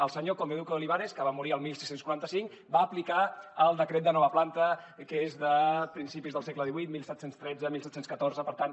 el senyor conde duque de olivares que va morir el dieciséis cuarenta cinco va aplicar el decret de nova planta que és de principis del segle xviii diecisiete diez tres diecisiete diez cuatro per tant